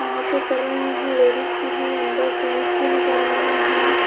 यहा पे कर रहे है लेडिज भी है अंदर जेन्स भी नजर आ रहे है।